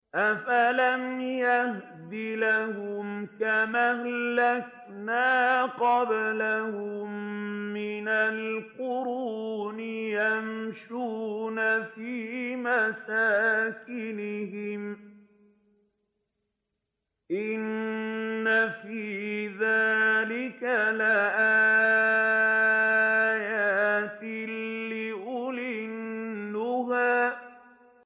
أَفَلَمْ يَهْدِ لَهُمْ كَمْ أَهْلَكْنَا قَبْلَهُم مِّنَ الْقُرُونِ يَمْشُونَ فِي مَسَاكِنِهِمْ ۗ إِنَّ فِي ذَٰلِكَ لَآيَاتٍ لِّأُولِي النُّهَىٰ